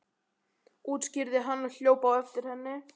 útskýrði hann og hljóp á eftir henni.